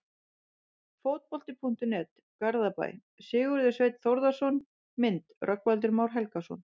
Fótbolti.net, Garðabæ- Sigurður Sveinn Þórðarson Mynd: Rögnvaldur Már Helgason